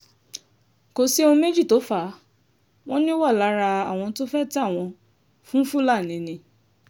kò sí ohun méjì tó fà á wọn ni ó wà lára àwọn tó fẹ́ẹ́ tà wọ́n fún fúlàní ni